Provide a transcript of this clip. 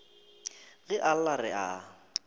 ge a lla re a